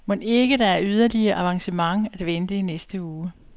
Mon ikke der er yderligere avancement at vente i næste uge?